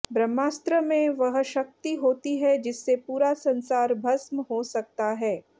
ब्रह्मास्त्र में वह शक्ति होती है जिससे पूरा संसार भस्म हो सकता है